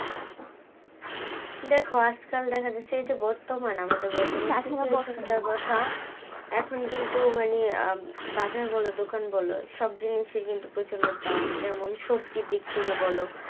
দেখো আজকাল দেখা যাচ্ছে এইযে বর্তমান আমাদের কথা এখন কিন্তু মানে আহ বাজার বলো দোকান বল সব জিনিসই কিন্তু প্রচন্ড দাম যেমন সবজি দিক থেকে বল